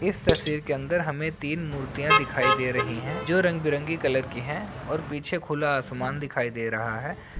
इस तस्वीर के अंदर में हमें तीन मूर्तियां दिखाई दे रही हैं जो रंग-बिरंगी कलर की हैं और पीछे खुला आसमान दिखाई दे रहा है ।